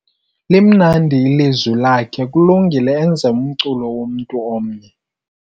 Limnandi ilizwi lakhe kulungile enze umculo womntu omnye.